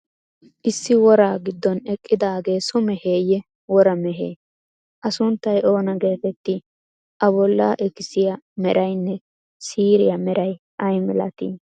Issi woraa giddon eqqidaagee so meheyee, wora mehee? A sunttay oona geeteettii? A bollaa ikisiya meraynne siiriya meray ay malatii??